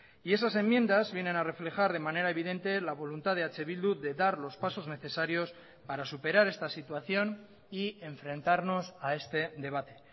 y esas enmiendas vienen a reflejar de manera evidente la voluntad de eh bildu de dar los pasos necesarios para superar esta situación y enfrentarnos a este debate